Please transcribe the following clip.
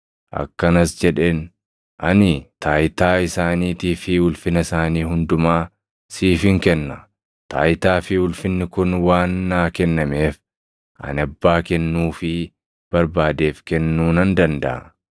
Akkanas jedheen; “Ani taayitaa isaaniitii fi ulfina isaanii hundumaa siifin kenna; taayitaa fi ulfinni kun waan naa kennameef ani abbaa kennuufii barbaadeef kennuu nan dandaʼa.